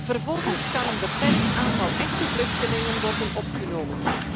Vervolgens kan een beperkt aantal echte vluchtelingen worden opgenomen.